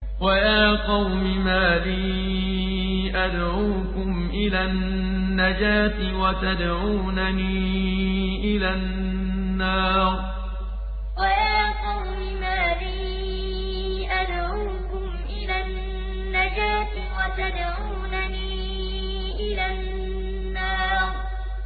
۞ وَيَا قَوْمِ مَا لِي أَدْعُوكُمْ إِلَى النَّجَاةِ وَتَدْعُونَنِي إِلَى النَّارِ ۞ وَيَا قَوْمِ مَا لِي أَدْعُوكُمْ إِلَى النَّجَاةِ وَتَدْعُونَنِي إِلَى النَّارِ